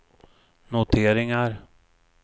noteringar